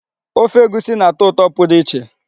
Ofe egusi na-atọ ụtọ pụrụ iche.